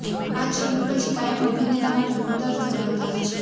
આ છબી પછી કાયમ અભિનેતા માટે ગુંદર ધરાવતા છે